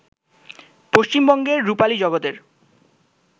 পশ্চিমবঙ্গের রুপালী জগতের